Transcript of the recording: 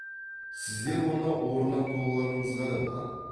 сіздер оны орнатпауларыңызға да болады